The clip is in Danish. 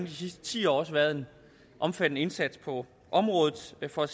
de sidste ti år også været en omfattende indsats på området for at